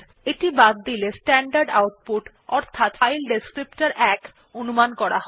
এটি বাদ দিলে স্ট্যান্ডার্ড আউপুট অর্থাৎ ফাইল বর্ণনাকারী ১ অনুমান করা হয়